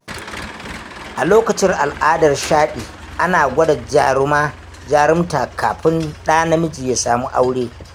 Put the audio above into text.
A lokacin al'adar Shaɗi, ana gwada jarumta kafin ɗa namiji ya samu aure.